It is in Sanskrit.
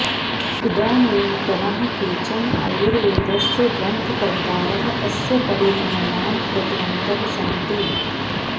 इदानीन्तनाः केचन आयुर्वेदस्य ग्रन्थकर्तारः अस्य परिगणनां कृतवन्तः सन्ति